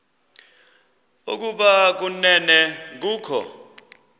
ukuba kanene kukho